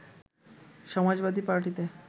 সমাজবাদী পার্টিতে